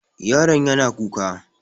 Yaron yana kuka.